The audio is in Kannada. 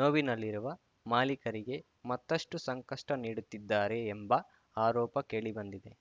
ನೋವಿನಲ್ಲಿರುವ ಮಾಲಿಕರಿಗೆ ಮತ್ತಷ್ಟುಸಂಕಷ್ಟನೀಡುತ್ತಿದ್ದಾರೆ ಎಂಬ ಆರೋಪ ಕೇಳಿ ಬಂದಿದೆ